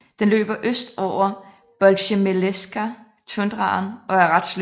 Den løber øst over på Bolsjezemelskaja Tundraen og er ret slynget